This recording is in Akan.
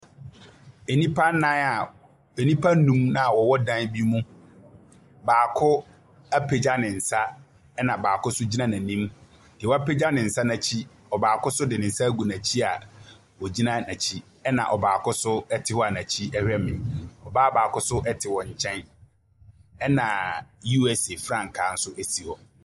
Nnipa nnan a nnipa nnum bi a wɔwɔ dan bi mu. Baako apagya ne nsa, ɛnna baako nso gyina n'anim. Deɛ wapagya ne nsa no akyi, ɔbaako nso de nsa agu n'akyia a ɔgyina n'akyi, ɛnna ɔbaako nso te hɔ a n'akyi hwɛ me. Ɔbaa baako nso te wɔn nkyɛn, ɛnna USA frankaa nso si hɔ.